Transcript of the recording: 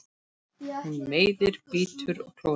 Hún meiðir, bítur og klórar.